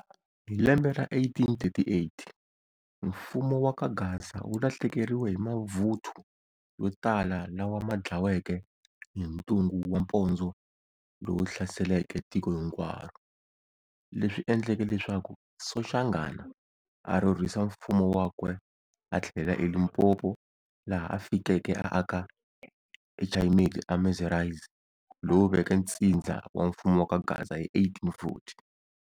Hi lembe ra 1838, mfumo wa kaGaza wu lahlekeriwe hi mavuthu yo tala lawa ma dlaweke hi ntungu wa mpondzo lowu hlaseleke tiko hinkwaro, leswi endleke leswaku Soshangana a rhurhisa mfumo wakwe a thlelela eLimpopo laha a fikeke a aka eChayimeti eMassurize lowu veke ntsidza wa mfumo wa ka Gaza hi 1840.